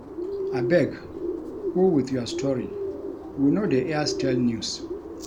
Abeg go with your story, we no dey air stale news